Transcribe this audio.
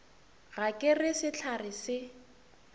ga ke re sehlare se